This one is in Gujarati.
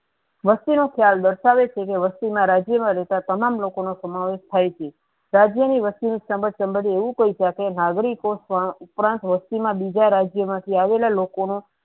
વસ્તુ ના ખ્યાલ દર્શાવે છે કે વસ્તુ ના રાજ્ય મા લોકા તમામ લોકો સમાવેશ થાય છે રાજ્ય ની વસ્તુ ની એવુ કહી સકે નાગરીકો વસતી મા બીજા રાજ્ય મા થી આવેલા લોકો નું